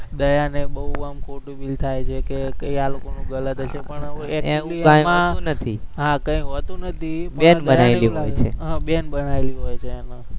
દયાને બોવ આમ ખોટું feel થાય છે કે કંઈક આ લોકોનું ગલત હશે પણ હા કઈ હોતું નથી, હમ બેન બનાવેલી હોય છે એને